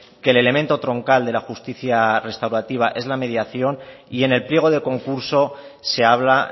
que el elemento troncal de la justicia restaurativa es la mediación y en el pliego de concurso se habla